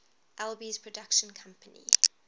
alby's production company